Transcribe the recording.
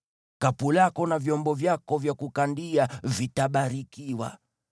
Kapu lako na vyombo vyako vya kukandia vitabarikiwa.